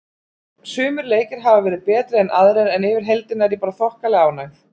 Sumir leikir hafa verið betri en aðrir en yfir heildina er ég bara þokkalega ánægð.